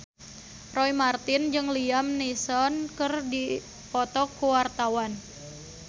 Roy Marten jeung Liam Neeson keur dipoto ku wartawan